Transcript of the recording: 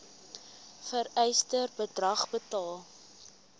vereiste bedrag betaal